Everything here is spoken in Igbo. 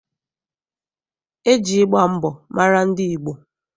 E ji ịgba mbọ mara ndị Igbo.